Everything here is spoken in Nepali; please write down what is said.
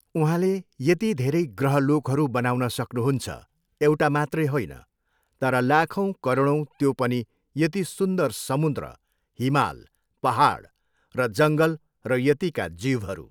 उँहाले यति धेरै ग्रह लोकहरू बनाउन सक्नुहुन्छ एउटा मात्रै होइन तर लाखौँ करौडौँ त्यो पनि यति सुन्दर समुन्द्र, हिमाल, पहाड र जङ्गल र यतिका जीवहरू।